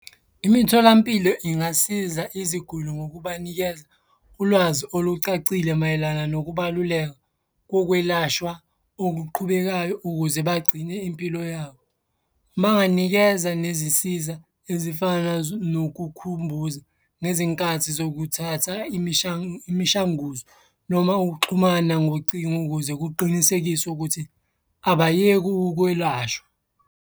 Imitholampilo ingasiza iziguli ngokubanikeza ulwazi olucacile mayelana nokubaluleka kokwelashwa okuqhubekayo ukuze bagcine impilo yabo. Banganikeza nezisiza ezifana nokukhumbuza nezinkathi zokuthatha imishanguzo noma ukuxhumana ngocingo ukuze kuqinisekiswe ukuthi abayeke ukwelashwa.